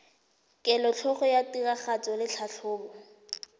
kelotlhoko ya tiragatso le tlhatlhobo